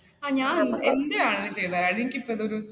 ആ ഞാൻ എന്തു വേണമെങ്കിലും ചെയ്തത് താരാടി എനിക്ക് ഇപ്പ ഇതൊരു ഒരു